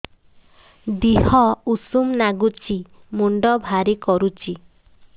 ଦିହ ଉଷୁମ ନାଗୁଚି ମୁଣ୍ଡ ଭାରି କରୁଚି